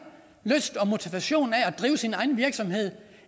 lyst og motivation af at drive sin egen virksomhed